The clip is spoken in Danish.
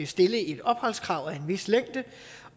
stille et opholdskrav af en vis længde